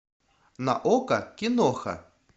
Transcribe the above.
на окко киноха